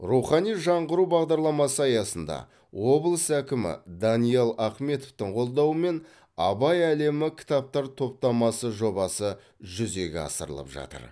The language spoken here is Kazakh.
рухани жаңғыру бағдарламасы аясында облыс әкімі даниал ахметовтің қолдауымен абай әлемі кітаптар топтамасы жобасы жүзеге асырылып жатыр